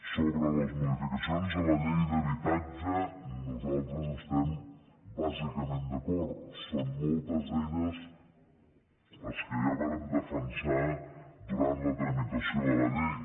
sobre les modificacions de la llei d’habitatge nosaltres estem bàsicament d’acord són moltes d’elles les que ja vàrem defensar durant la tramitació de la llei